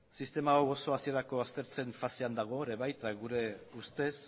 sistema hau oso hasierako aztertzen fasean dago ere baita gure ustez